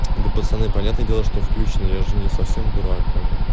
да пацаны понятное дело что включено я же не совсем дурак как-бы